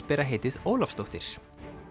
bera heitið Ólafsdóttir